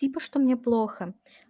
типа что мне плохо